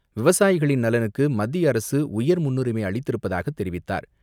விவசாயிகளின் நலனுக்கு மத்திய அரசு உயர் முன்னுரிமை அளித்திருப்பதாக தெரிவித்தார்.